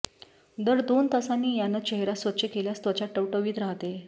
दर दोन तासांनी यानं चेहरा स्वच्छ केल्यास त्वचा टवटवीत राहते